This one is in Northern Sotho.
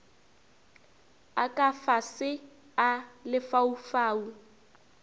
a ka fase a lefaufau